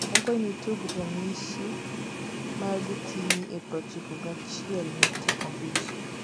akwayo ni tug ranyishi ma gokinyi e prochiko gi achiel nukta abich